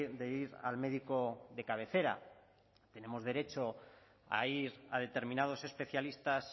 de ir al médico de cabecera tenemos derecho a ir a determinados especialistas